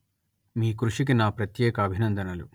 మీ కృషికి నా ప్రత్యేక అభినందనలు